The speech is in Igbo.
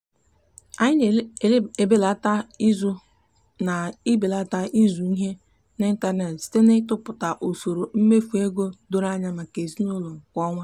anyị na-ebelata izu na-ebelata izu ihe n'ịntanet site n'ịtụpụta usoro mmefu ego doro anya maka ezinụụlọ kwa ọnwa.